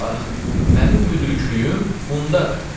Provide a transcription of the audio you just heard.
Bax, mənim müdrikliyim bundadır.